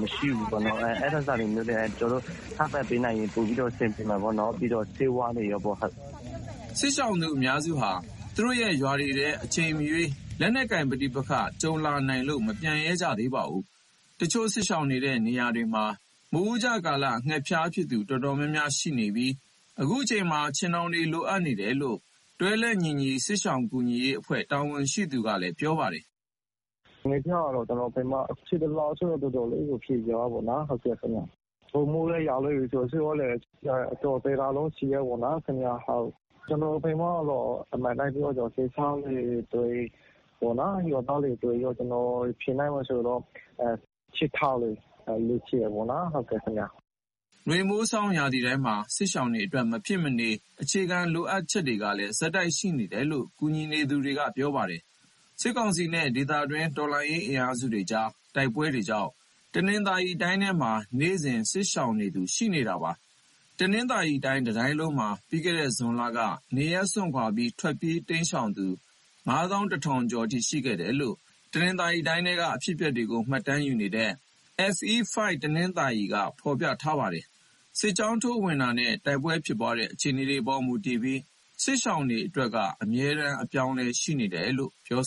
မရှိဘူးပေါ့နော်။ အဲဒါတွေလိုတယ်။ ထောက်ပံ့ပေးနိုင်ရင်တော့ ပိုပြီးအဆင်ပြေတာပေါ့နော်။ နောက်တခုက ဆေးဝါးတွေလည်းလိုတယ်။" စစ်ရှောင်သူအများစုဟာ သူတို့ရဲ့ရွာတွေထဲ အချိန်မရွေး လက်နက်ကိုင်ပဋိပက္ခဒဏ် ကြုံတွေ့နိုင်လို့ မပြန်ရဲကြတာပါ။ တချို့စစ်ရှောင်နေတဲ့ နေရာတွေမှာ မိုးဦးကျကာလ ငှက်ဖျားဖြစ်သူ တော်တော်များများရှိခဲ့ပြီး အခုချိန်မှာ ခြင်ထောင်တွေ လိုအပ်နေတယ်လို့ တွဲလက်ညီညီ စစ်ရှောင်ကူညီရေးအဖွဲ့ တာဝန်ရှိသူက ပြောပါတယ်။ "ငှက်ဖျားကတော့ ကျနော်တို့ဘက်မှာ ရှေ့တလကဆို တော်တော်လေးကို ဖြစ်သွားတာပေါ့။ အခုမိုးလည်းရွာနေပြီဆိုတော့ ဆေးဝါးလိုအပ်ချက်ကတော့ တော်တော်လေးရှိတာပေါ့။ ကျနော်တို့ဘက်မှာတော့ အမှန်တိုင်းပြောရရင် စစ်ရှောင်တွေ အတွက်၊ ရွာသားတွေအတွက် ဖြစ်နိုင်မယ်ဆိုရင်တော့ ခြင်ထောင်တွေ လိုချင်တာပေါ့နော်။" နွေ၊ မိုး၊ ဆောင်း ရာသီတိုင်းမှာ စစ်ရှောင်တွေအတွက် မဖြစ်မနေ အခြေခံလိုအပ်ချက်တွေကလည်း ဆက်တိုက်ရှိနေတယ်လို့ ကူညီနေသူတွေက ပြောပါတယ်။ စစ်ကောင်စီနဲ့ ဒေသတွင်း တော်လှန်ရေး အင်အားစုတွေကြားက တိုက်ပွဲတွေကြောင့် တနင်္သာရီတိုင်းထဲမှာ နေ့စဉ်စစ်ရှောင်နေရသူ ရှိနေတာပါ။ တနင်္သာရီတိုင်း တတိုင်းလုံးမှာ ပြီးခဲ့တဲ့ ဇွန်လက နေရပ်စွန့်ခွာပြီး ထွက်ပြေးတိမ်းရှောင်သူ ၅၁,၀၀၀ ကျော်အထိ ရှိခဲ့တယ်လို့ တနင်္သာရီတိုင်းထဲက အဖြစ်အပျက်တွေကို မှတ်တမ်းယူနေတဲ့ FE5 တနင်္သာရီက ဖော်ပြထားပါတယ်။ စစ်ကြောင်းထိုး ဝင်ရောက်တာနဲ့ တိုက်ပွဲဖြစ်ပွားတဲ့ အခြေအနေပေါ် မူတည်ပြီး စစ်ရှောင်အရေအတွက်က အမြဲတမ်း အပြောင်းအလဲ ရှိနေတယ်လို့လည်း ပြော